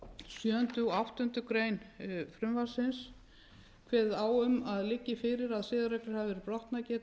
sjöunda og áttundu greinar frumvarpsins kveðið á um að liggi fyrir að siðareglur hafi verið brotnar